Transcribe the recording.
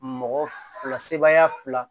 Mɔgɔ fila sebaaya fila